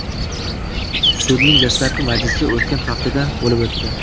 Sudning dastlabki majlisi o‘tgan haftada bo‘lib o‘tdi.